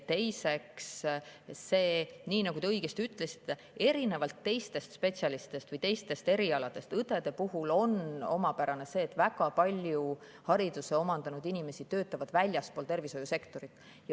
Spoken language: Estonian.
Teiseks, nii nagu te õigesti ütlesite, erinevalt teistest spetsialistidest või teistest erialadest on õdede puhul omapärane see, et väga paljud hariduse omandanud inimesed töötavad väljaspool tervishoiusektorit.